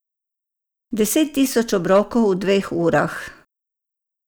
Deset tisoč obrokov v dveh urah.